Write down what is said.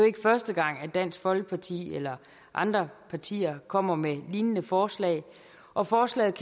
ikke første gang at dansk folkeparti eller andre partier kommer med lignende forslag og forslaget